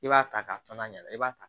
I b'a ta k'a fɔ n'a ɲɛna i b'a ta